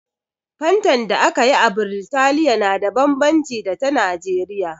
Fantan da aka yi a Biritaliya na da bambanci da ta Nijeriya.